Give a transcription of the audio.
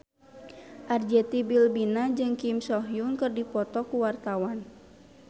Arzetti Bilbina jeung Kim So Hyun keur dipoto ku wartawan